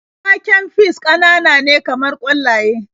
Waken fis ƙananane kamar ƙwallaye.